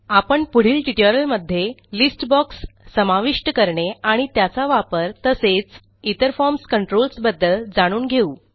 आपण पुढील ट्युटोरियलमध्ये लिस्ट boxसमाविष्ट करणे आणि त्याचा वापर तसेच इतर फॉर्म कंट्रोल्स बद्दल जाणून घेऊ